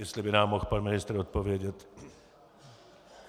Jestli by nám mohl pan ministr odpovědět.